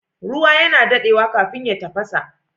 Ruwa yana dadewa kafin ya tafasa